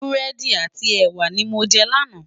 Búrèdi áti èwá ni mó jè làná